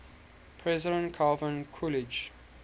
president calvin coolidge